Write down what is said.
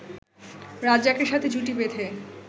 রাজ্জাকের সাথে জুটি বেঁধে